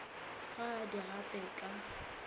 ga a di gape ka